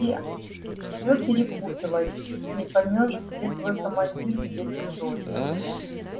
все всё перепуталось не поймёшь где твой командир где чужой